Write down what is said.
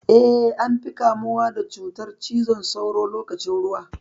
Eh, an fi kamuwa da cutar cizon sauron lokacin ruwa.